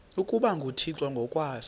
ukuba nguthixo ngokwaso